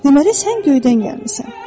Deməli sən göydən gəlmisən.